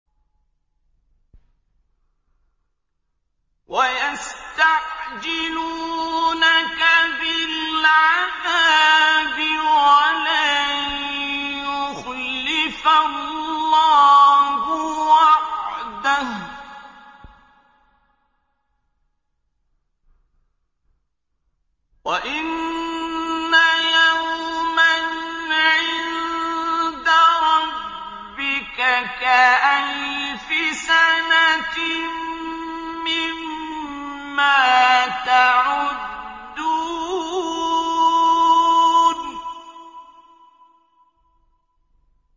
وَيَسْتَعْجِلُونَكَ بِالْعَذَابِ وَلَن يُخْلِفَ اللَّهُ وَعْدَهُ ۚ وَإِنَّ يَوْمًا عِندَ رَبِّكَ كَأَلْفِ سَنَةٍ مِّمَّا تَعُدُّونَ